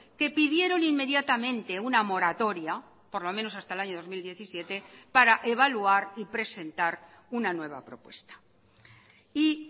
que pidieron inmediatamente una moratoria por lo menos hasta el año dos mil diecisiete para evaluar y presentar una nueva propuesta y